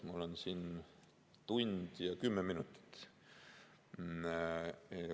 Mul on siin aega tund ja kümme minutit.